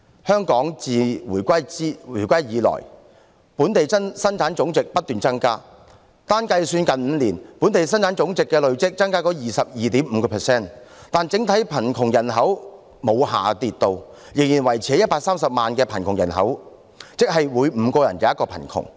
香港自回歸以來，本地生產總值不斷上升，單是計算最近5年，本地生產總值累計上升 22.5%， 但整體貧窮人口沒有下跌，仍然維持在130萬人，即每5人便有一人貧窮。